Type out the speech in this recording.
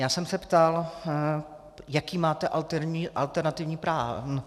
Já jsem se ptal, jaký máte alternativní plán.